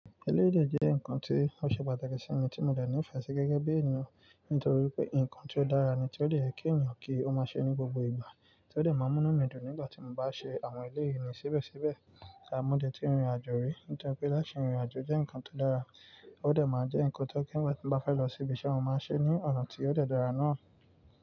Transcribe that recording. Eléyìí dè jẹ́ nǹkan tí ó ṣe pàtàkì sí mi tí mo dẹ̀ nífẹ̀ẹ́ sí gẹ́gẹ́ bí ènìyàn. Nítorí pé nǹkan ti ó dára ni tí ó dẹ̀ yẹ kí ènìyàn kí ó máa ṣe ní gbogbo ìgbà, tí ó dẹ̀ máa mú mí dùn nígbà tí mo bá ṣe àwọn eleyii ni síbẹ̀síbẹ̀. À mọ́ dẹ̀ tí rin ìrìnàjò rí, nítorí pé láti rin ìrìnàjò jẹ́ nǹkan tó dára, ó dẹ̀ máa jẹ́ nǹkan tó kí ìgbà tí mo bá fẹ́ lọ síbi iṣẹ́ mo máa ṣe ní ọ̀nà tí ó dẹ̀ dára náà.